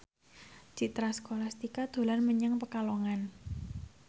Citra Scholastika dolan menyang Pekalongan